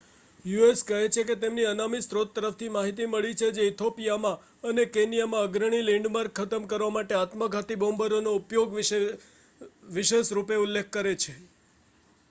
"US. કહે છે કે તેને અનામી સ્રોત તરફથી માહિતી મળી છે જે ઇથિઓપિઆમાં અને કેન્યામાં "અગ્રણી લૅન્ડમાર્ક" ખતમ કરવા માટે આત્મઘાતી બૉમ્બરોના ઉપયોગ વિશે વિશેષ રૂપે ઉલ્લેખ કરે છે.